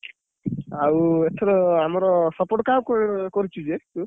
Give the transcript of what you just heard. ଆଉ ଏଥର ଆମର support କାହାକୁ କରିଛି କିଏ ଏ?